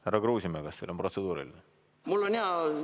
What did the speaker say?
Härra Kruusimäe, kas teil on protseduuriline küsimus?